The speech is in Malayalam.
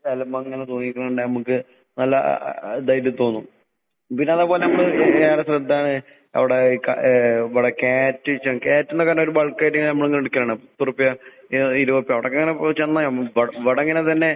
എലമങ്ങനെ തൂങ്ങീക്കണ കണ്ടാ ഇമ്മക്ക് നല്ല അ അ അ ഇതായിട്ട് തോന്നും. പിന്നതേ പോലെ നമ്മള് എന്താണ് അവടെ ഈ ക ഏഹ് ഇവടെ ക്യാരറ്റ് ച്ചാ. ക്യാരറ്റിനെ കണ്ടാ ഒരു ബൾക്കായിട്ടിങ്ങനെ നമ്മളിങ്ങനെടുക്കലാണ്. എത്രുപ്പയാ? ഏഹ് ഇരുവറുപ്പ്യ. അവടക്കിങ്ങനെ ഏഹ് ചെന്നാ ഇവടങ്ങനെ തന്നെ